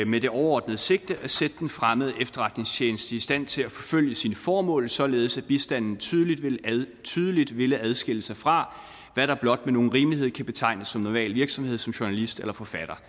med det overordnede sigte at sætte den fremmede efterretningstjeneste i stand til at forfølge sine formål således at bistanden tydeligt tydeligt ville adskille sig fra hvad der blot med nogen rimelighed kan betegnes som normal virksomhed som journalist eller forfatter